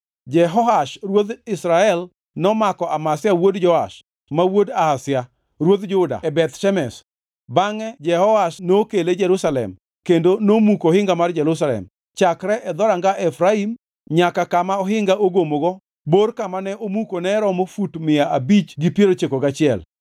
Jehoash ruodh Israel nomako Amazia wuod Joash ma wuod Ahazia, ruodh Juda e Beth Shemesh. Bangʼe Jehoash nokele Jerusalem kendo nomuko ohinga mar Jerusalem chakre e Dhoranga Efraim nyaka kama ohinga ogomogo, bor kama ne omuko ne romo fut mia abich gi piero ochiko gachiel.